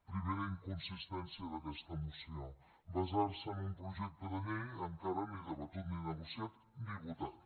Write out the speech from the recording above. primera inconsistència d’aquesta moció basar se en un projecte de llei encara ni debatut ni negociat ni votat